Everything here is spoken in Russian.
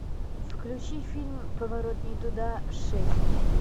включи фильм поворот не туда шесть